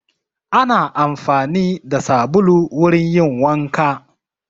Ana amfani da sabulu wurin yin wanka.